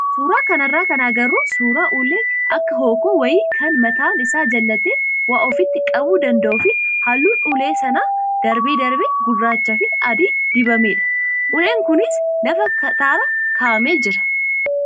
Suuraa kanarraa kan agarru suuraa ulee akka hookkoo wayii kan mataan isaa jallatee waa ofitti qabuu danda'uu fi halluun ulee sanaa darbee darbee gurraachaa fi adii dibamedha. Uleen kunis lafa kattaarra kaa'amee jira.